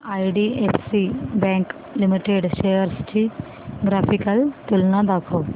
IDFC bank limited shares ची graphical तुलना दाखव